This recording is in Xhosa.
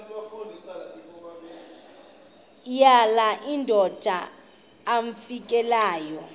yala madoda amfikeleyo